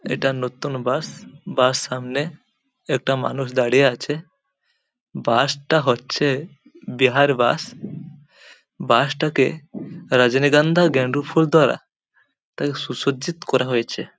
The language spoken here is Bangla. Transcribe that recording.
এটা নতুন বাস । বাস সামনে একটা মানুষ দাঁড়িয়ে আছে। বাস -টা হচ্ছে-এ বিহার বাস । বাস -টাকে রজনীগন্ধা গেন্দু ফুল দ্বারা তাকে সুসজ্জিত করা হয়েছে। ]